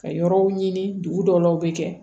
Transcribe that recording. Ka yɔrɔw ɲini dugu dɔw la u bɛ kɛ